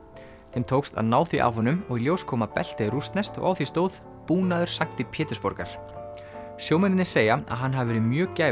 þeim tókst að ná því af honum og í ljós kom að beltið er rússneskt og á því stóð búnaður sankti Pétursborgar sjómennirnir segja að hann hafi verið mjög